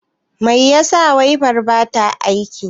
Mai yasa waifar bata aiki?